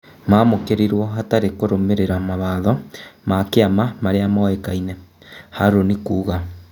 "Mamũkĩ rirwo hatarĩ kũrũmĩ rĩ ra mawatho ma kĩ ama maria moĩ kaine" Harũni kuuga.